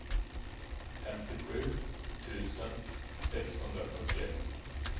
femtiosju tusen sexhundrafyrtioett